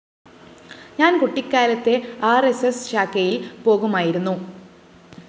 ഞാന്‍ കുട്ടിക്കാലത്തേ ആര്‍എസ്‌എസ്‌ ശാഖയില്‍ പോകുമായിരുന്നു